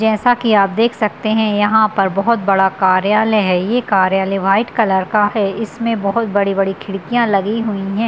जैसा की आप देख सकते हैं यहाँ पर बहुत बड़ा कार्यालय है । ये कार्यालय वाइट कलर का है | इसमें बहुत बड़ी-बड़ी खिड़कियाँ लगी हुई है ।